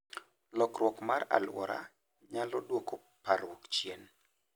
Lokruok mar alwora nyalo dwoko parruok chien.